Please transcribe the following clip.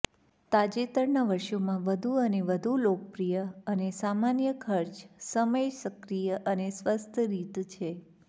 તાજેતરના વર્ષોમાં વધુ અને વધુ લોકપ્રિય અને સામાન્ય ખર્ચ સમય સક્રિય અને સ્વસ્થ રીત છે